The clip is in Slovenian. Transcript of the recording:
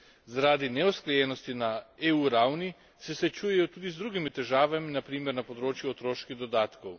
Zaradi neusklajenosti na EU ravni se srečujejo tudi z drugimi težavami, na primer na področju otroških dodatkov.